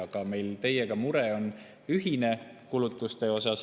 Mure kulutuste pärast on meil ühine.